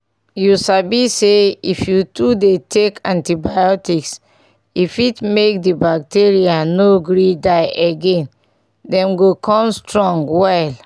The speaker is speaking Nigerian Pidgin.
you sabi say if you too dey take antibiotics e fit make the bacteria no gree die again them go come strong well